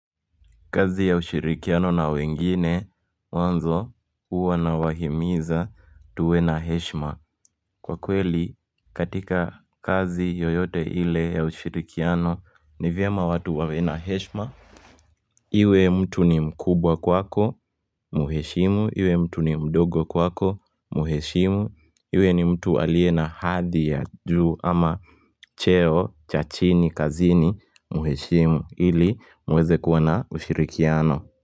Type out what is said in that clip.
Kazi ya ushirikiano na wengine mwanzo uwa nawahimiza tuwe na heshima Kwa kweli katika kazi yoyote ile ya ushirikiano ni vyema watu wawena heshima Iwe mtu ni mkubwa kwako muheshimu iwe mtu ni mdogo kwako muheshimu iwe ni mtu alie na hadhi ya juu ama cheo cha chini kazini muheshimu ili muweze kuwana ushirikiano.